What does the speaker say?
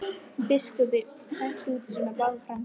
Biskup hrækti út úr sér báðum framtönnunum.